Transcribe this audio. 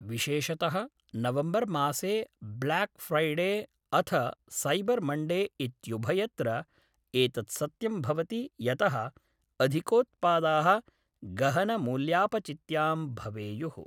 विशेषतः नवम्बर्मासे Black Friday अथ सैबर् मण्डे इत्युभयत्र एतत् सत्यं भवति यतः अधिकोत्पादाः गहनमूल्यापचित्यां भवेयुः।